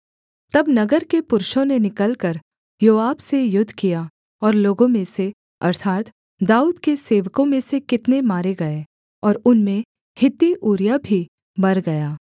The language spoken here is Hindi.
तब नगर के पुरुषों ने निकलकर योआब से युद्ध किया और लोगों में से अर्थात् दाऊद के सेवकों में से कितने मारे गए और उनमें हित्ती ऊरिय्याह भी मर गया